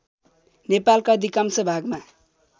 नेपालका अधिकांश भागमा